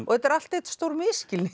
þetta er allt einn stór misskilningur